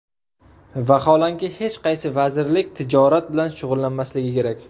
Vaholanki, hech qaysi vazirlik tijorat bilan shug‘ullanmasligi kerak.